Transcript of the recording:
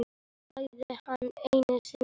sagði hann einu sinni reiður.